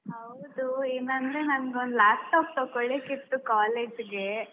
ಹೌದು, ಏನಂದ್ರೆ ನಂಗೊಂದು laptop ತಗೊಳಿಕ್ಕಿತ್ತು college ಗೆ.